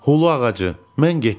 Hulu ağacı, mən getdim.